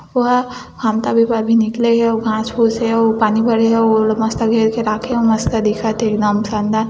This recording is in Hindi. ओहा घाम तापे बर भी निकले हे अउ घास-फूस हे अउ पानी भरे हे अउ ओला मस्त घेर के राखे हे अऊ मस्त दिखत हे एकदम शानदार --